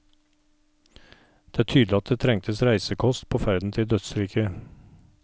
Det er tydelig at det trengtes reisekost på ferden til dødsriket.